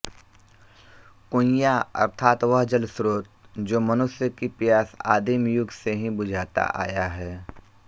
कुइयाँ अर्थात वह जलस्रोत जो मनुष्य की प्यास आदिम युग से ही बुझाता आया है